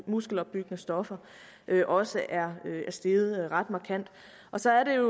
muskelopbyggende stoffer også er steget ret markant så er det